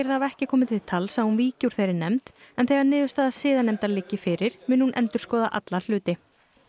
það hafi ekki komið til tals að hún víki úr þeirri nefnd en þegar niðurstaða siðanefndar liggi fyrir muni hún endurskoða alla hluti